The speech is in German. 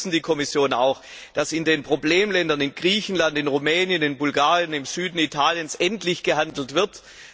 Wir unterstützen die Kommission auch, damit in den Problemländern in Griechenland, in Rumänien, in Bulgarien, im Süden Italiens endlich gehandelt wird.